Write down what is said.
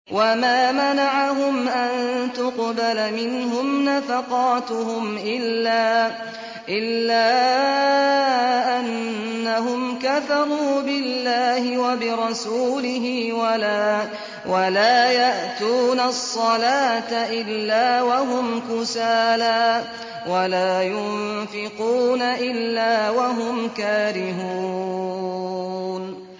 وَمَا مَنَعَهُمْ أَن تُقْبَلَ مِنْهُمْ نَفَقَاتُهُمْ إِلَّا أَنَّهُمْ كَفَرُوا بِاللَّهِ وَبِرَسُولِهِ وَلَا يَأْتُونَ الصَّلَاةَ إِلَّا وَهُمْ كُسَالَىٰ وَلَا يُنفِقُونَ إِلَّا وَهُمْ كَارِهُونَ